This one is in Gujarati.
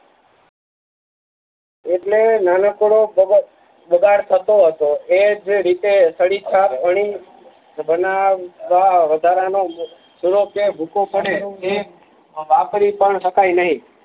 એટલે નાનકડો પ્રવઅ પદાથ થતો હતો એ જે રીતે છડી છાપ અણી બનાવવા વધારા નો ચુનો કે ભૂકો પડે એ વાપરી પણ શકાય નહી